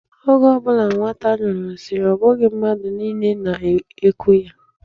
Oge ọ bụla nwata nyụrụ nsi, ọ bụghị mmadụ niile na-eku ya.